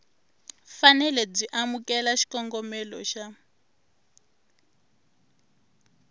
fanele byi amukela xikombelo xa